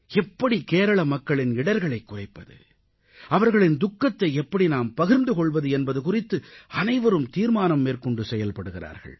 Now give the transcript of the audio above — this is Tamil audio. எப்படி கேரள மக்களின் இடர்களைக் குறைப்பது அவர்களின் துக்கத்தை எப்படி நாம் பகிர்ந்து கொள்வது என்பது குறித்து அனைவரும் தீர்மானம் மேற்கொண்டு செயல்படுகிறார்கள்